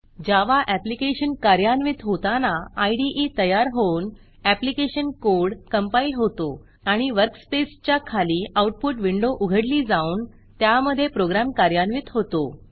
जावा application कार्यान्वित होताना इदे तयार होऊन ऍप्लीकेशन कोड कंपाईल होतो आणि वर्कस्पेसच्या खाली आऊटपुट विंडो उघडली जाऊन त्यामधे प्रोग्रॅम कार्यान्वित होतो